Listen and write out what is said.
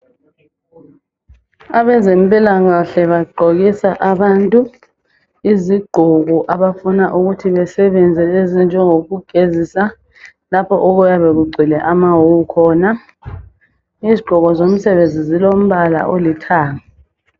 Abezempilakahle bagqokisa abantu izigqoko abafuna ukuthi besebenze ezinjengokugezisa lapho okuyabe kugcwele amawuwu khona. Izigqoko zomsebenzi zilombala olithanga.